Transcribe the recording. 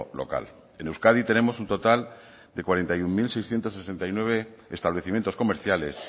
local en euskadi tenemos un total de cuarenta y uno mil seiscientos sesenta y nueve establecimientos comerciales